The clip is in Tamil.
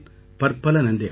பலப்பல நன்றிகள்